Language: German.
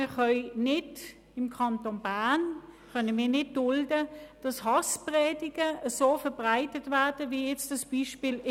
Aber wir können im Kanton Bern nicht dulden, dass Hasspredigten so verbreitet werden, wie in diesem Beispiel.